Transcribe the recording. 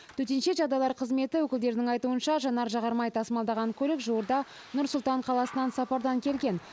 төтенше жағдайлар қызметі өкілдерінің айтуынша жанар жағармай тасымалданған көлік жуырда нұр сұлтан қаласынан сапардан келген